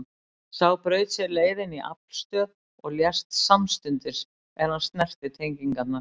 Sá braut sér leið inn í aflstöð og lést samstundis er hann snerti tengingarnar.